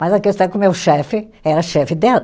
Mas a questão é que o meu chefe era chefe dela.